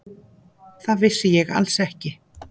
Það vissi ég alls ekki.